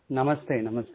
नमस्ते नमस्ते